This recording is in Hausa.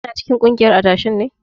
Kina cikin kungiyar adashen ne?